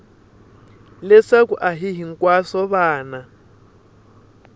leswaku a hi hinkwavo vana